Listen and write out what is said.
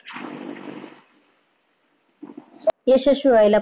यशस्वी व्हायला